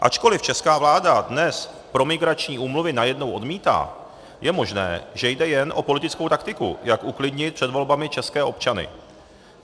Ačkoliv česká vláda dnes promigrační úmluvy najednou odmítá, je možné, že jde jen o politickou taktiku, jak uklidnit před volbami české občany.